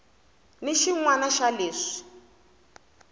ni xin wana xa leswi